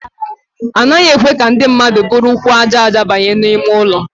Anaghị ekwe ka ndị mmadụ buru ụkwụ aja aja banye n'ime ụlọ.